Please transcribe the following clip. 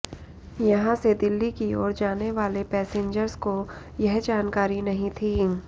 यहां से दिल्ली की ओर जाने वाले पैसेंजर्स को यह जानकारी नहीं थी